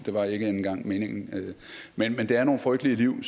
var ikke engang meningen det er nogle frygtelige liv